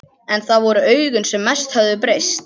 En það voru augun sem mest höfðu breyst.